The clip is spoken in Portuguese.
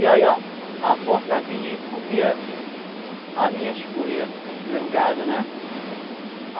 E aí, ó, a porca vinha e comia as minhas cuias, o meu o gado, né?